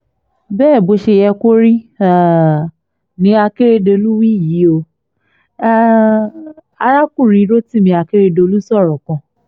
bẹ́ẹ̀ bó ṣe yẹ kó rí um ni akeredolu wí yìí ó um arákùnrin rotimi akeredolu sọ̀rọ̀ kan